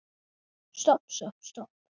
Stopp, stopp, stopp.